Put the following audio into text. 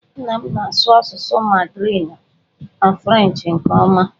Nna m na-asụ asụsụ Mandarinụ na Frenchị nke ọma